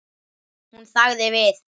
Hún þagði við.